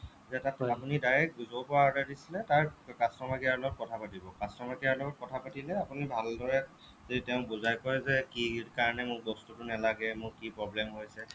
আপুনি direct য'ৰ পৰা order দিছিলে তাৰ customer care লগত কথা পাতিব customer care ৰ লগত কথা পাতিলে আপুনি ভালদৰে যদি তেওঁ বুজাই ক'য় যে কি কাৰণে যে মোক বস্তুটো নেলাগে মোক কি problem হৈছে